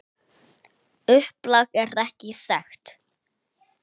Upplag er ekki þekkt.